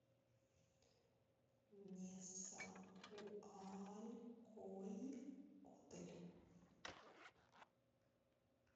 несауалькойотль